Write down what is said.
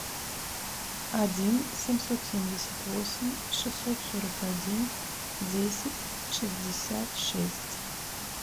один семьсот семьдесят восемь шестьсот сорок один десять шестьдесят шесть